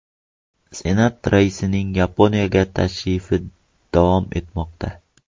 Senat raisining Yaponiyaga tashrifi davom etmoqda.